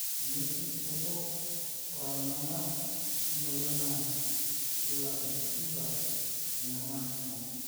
tenejing ombo oorngangar emoyian na keiambukiza irngarngar kumok